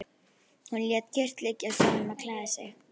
Hún lét kyrrt liggja og sagði honum að klæða sig.